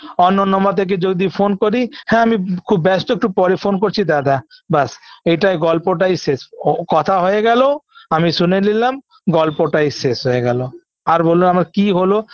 অন্য number থেকে যদি phone করি হ্যাঁ আমি খুব ব্যস্ত একটু পরে phone করছি দাদা ব্যাস এটাই গল্পটাই শেষ ও কথা হয়ে গেল আমি শুনে নিলাম গল্পটাই শেষ হয়ে গেল আর বল আমার কি হলো